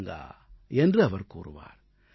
मन चंगा तो कठौती में गंगा என்று அவர் கூறுவார்